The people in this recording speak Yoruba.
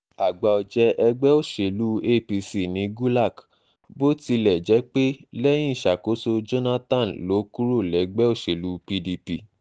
àgbà-ọ̀jẹ̀ ẹgbẹ́ òsèlú um apc ní gulak bó tilẹ̀ um jẹ́ um jẹ́ pé lẹ́yìn ìṣàkóso jonathan ló kúrò lẹ́gbẹ́ òṣèlú pdp